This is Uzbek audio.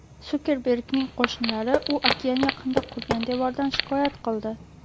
Sukerbergning qo‘shnilari u okean yaqinida qurgan devordan shikoyat qildi.